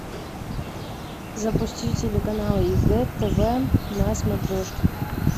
запусти телеканал егэ тв на смотрешке